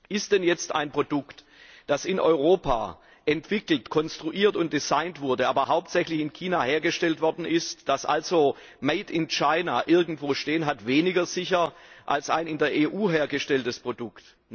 Ist denn jetzt ein Produkt, das in Europa entwickelt, konstruiert und designt wurde, aber hauptsächlich in China hergestellt worden ist, das also Made in China irgendwo stehen hat, weniger sicher, als ein in der EU hergestelltes Produkt?